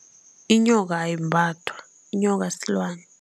Inyoka ayimbathwa, inyoka silwani.